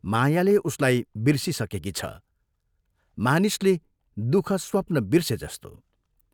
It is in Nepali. मायाले उसलाई बिर्सिसकेकी छ मानिसले दुःखस्वप्न बिर्से जस्तो।